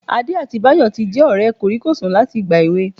Adé àti Báyọ̀ tí jẹ́ ọ̀rẹ́ kòríkòsùn láti ìgbà èwe